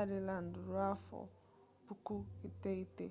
ireland ruo afọ puku iteghete